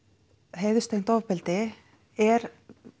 heiðurstengt ofbeldi er